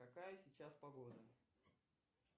какая сейчас погода